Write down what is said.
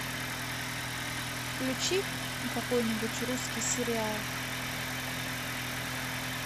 включи какой нибудь русский сериал